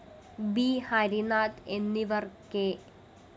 B Harindranath എന്നിവര്‍ K